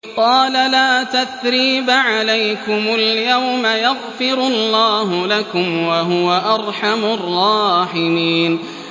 قَالَ لَا تَثْرِيبَ عَلَيْكُمُ الْيَوْمَ ۖ يَغْفِرُ اللَّهُ لَكُمْ ۖ وَهُوَ أَرْحَمُ الرَّاحِمِينَ